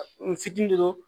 N fitinin don